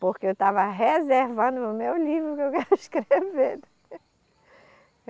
Porque eu estava reservando o meu livro que eu quero escrever.